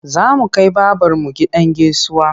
Za mu kai babarmu gidan gaisuwa.